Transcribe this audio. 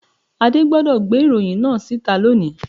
Adé gbodò gbé ìròyìn náà síta loni